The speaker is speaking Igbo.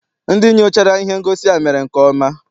Ndị nyochara ihe ngosi a mere nke ọma.